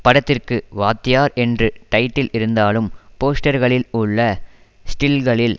படத்திற்கு வாத்தியார் என்று டைட்டில் இருந்தாலும் போஸ்டர்களில் உள்ள ஸ்டில்களில்